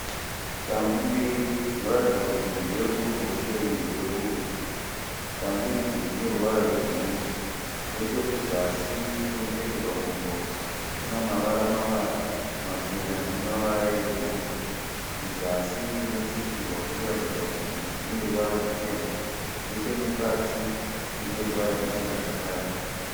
Shangu mbiri dzinoratidza kuti imwe ndeye kuruboshwe imwe ndeye kurudyi. Shangu idzi dzine ruvara rwebhuruu. Nechekuzasi kunopfekerwa gumbo kuna mavara- mavara machena nemavara ebhuruu. Kusazi kunotsikirwa kunoratidza kuti kuneruvara rwuchena. Nechemukati mune ruvara ruchena zvakare.